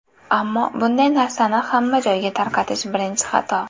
Ammo bunday narsani hamma joyga tarqatish birinchi xato.